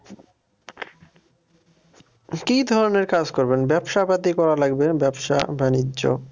কি ধরনের কাজ করবেন ব্যবসা পাতি করা লাগবে ব্যবসা-বাণিজ্য